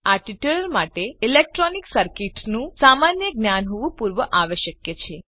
આ ટ્યુટોરીયલ માટે ઇલેક્ટ્રોનિક સર્કીટનું સામાન્ય જ્ઞાન હોવું પૂર્વાવશ્યક છે